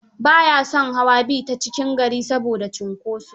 Ba ya son hawa bi ta cikin gari saboda cunkosa